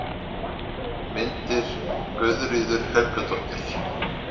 Myndir: Guðríður Helgadóttir.